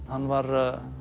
hann var